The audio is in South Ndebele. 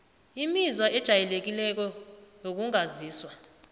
imizwa ejayelekileko wokungazizwa